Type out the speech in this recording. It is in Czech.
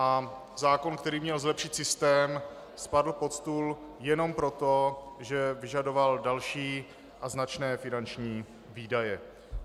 A zákon, který měl zlepšit systém, spadl pod stůl jenom proto, že vyžadoval další a značné finanční výdaje.